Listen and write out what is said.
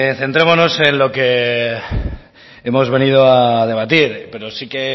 centrémonos en lo que hemos venido a debatir pero sí que